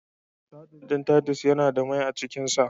Saɗin ɗin Titus Yana da mai a cikin sa.